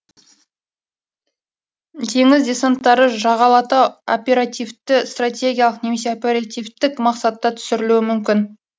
теңіз десанттары жағалата оперативті стратегиялық немесе оперативтік мақсатта түсірілуі мүмкін